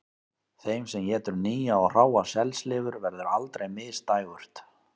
Þeim sem étur nýja og hráa selslifur verður aldrei misdægurt